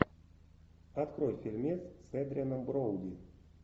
открой фильмец с эдрианом броуди